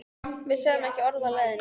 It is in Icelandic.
Við sögðum ekki orð á leiðinni.